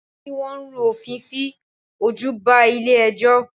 Àwọn tí Wọ́n rú òfin fi ojú ba ilé ẹjọ́.